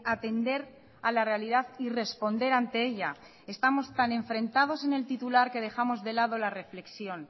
atender a la realidad y responder ante ella estamos tan enfrentados en el titular que dejamos de lado la reflexión